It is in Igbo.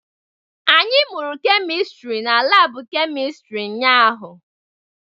Anyị mụrụ kemistri n'laabu kemịstri ụnyahụ.